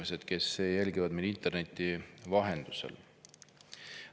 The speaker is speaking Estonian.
Head inimesed, kes jälgivad meid interneti vahendusel!